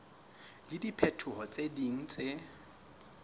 le dipehelo tse ding tse